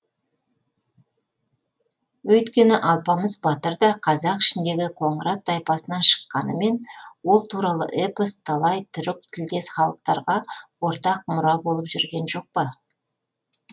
өйткені алпамыс батыр да қазақ ішіндегі қоңырат тайпасынан шыққанымен ол туралы эпос талай түрік тілдес халықтарға ортақ мұра болып жүрген жоқ па